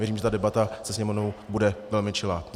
Věřím, že ta debata se Sněmovnou bude velmi čilá.